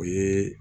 O ye